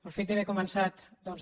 el fet d’haver començat doncs